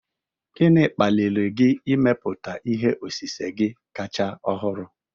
Gịnị kpaliri gị ịmepụta ihe osise gị kacha ọhụrụ?